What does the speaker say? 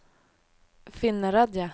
Finnerödja